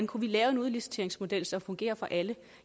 kunne lave en udliciteringsmodel som fungerer for alle